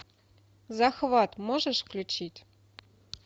захват можешь включить